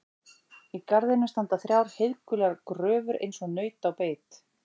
Í garðinum standa þrjár heiðgular gröfur eins og naut á beit.